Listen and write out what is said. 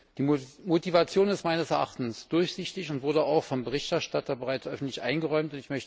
Die Motivation ist meines Erachtens durchsichtig und wurde auch vom Berichterstatter bereits öffentlich eingeräumt.